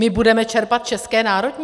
My budeme čerpat české národní?